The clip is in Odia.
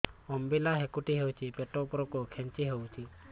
ଅମ୍ବିଳା ହେକୁଟୀ ହେଉଛି ପେଟ ଉପରକୁ ଖେଞ୍ଚି ହଉଚି